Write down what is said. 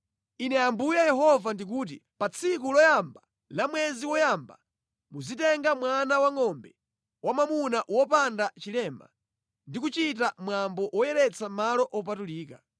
“ ‘Ine Ambuye Yehova ndikuti: Pa tsiku loyamba la mwezi woyamba muzitenga mwana wangʼombe wamwamuna wopanda chilema ndi kuchita mwambo woyeretsa malo opatulika.